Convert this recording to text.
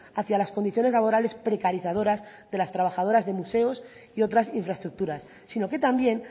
hacia las condiciones laborales precarizadoras de las trabajadoras de museos y otras infraestructuras sino que también